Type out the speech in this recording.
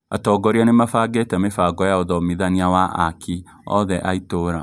Atongoria nĩmabangĩte mĩbango ya ũthomithania wa aaki othe a itũra